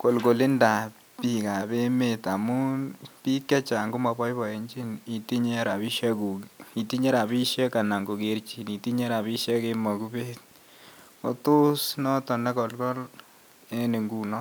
kolkolindab biik ab emeet ngamun biik chechang' komaboiboenjin itinye rabisiek anan kogerjin itinye rabisiek en mogubet, ko tos noton nekolkol en ingunon.